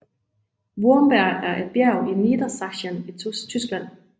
Wurmberg er et bjerg i Niedersachsen i Tyskland